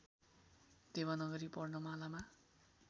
Devanagari वर्णमालामा